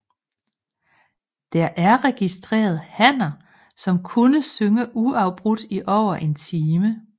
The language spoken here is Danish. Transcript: Der er registreret hanner som kunne synge uafbrudt i over en time